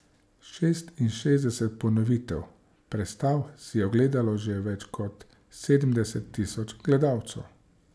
Šestinšestdeset ponovitev predstav si je ogledalo že več kot sedemdeset tisoč gledalcev.